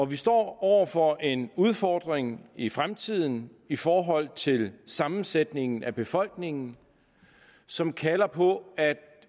vi står over for en udfordring i fremtiden i forhold til sammensætningen af befolkningen som kalder på at